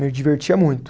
Me divertia muito.